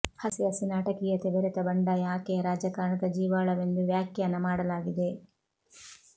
ಹಸಿ ಹಸಿ ನಾಟಕೀಯತೆ ಬೆರೆತ ಬಂಡಾಯ ಆಕೆಯ ರಾಜಕಾರಣದ ಜೀವಾಳವೆಂದು ವ್ಯಾಖ್ಯಾನ ಮಾಡಲಾಗಿದೆ